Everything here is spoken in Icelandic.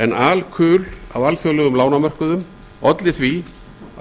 en alkul á alþjóðlegum lánamörkuðum olli því